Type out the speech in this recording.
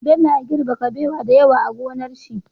Bello ya girbe kabewa da yawa a gonar shi